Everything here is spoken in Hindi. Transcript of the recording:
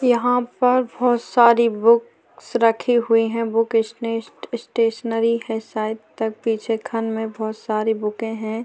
यहाँ पर बहुत सारी बुक्स रखी हुई है बुक स्टे स्टेशनरी है शायद तक पीछे खन में बहुत सारी बूके है।